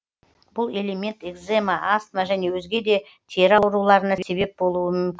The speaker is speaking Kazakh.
бұл элемент екзема астма және өзге де тері ауруларына себеп болуы мүмкін